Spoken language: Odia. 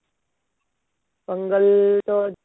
ପୋଙ୍ଗଲ ତ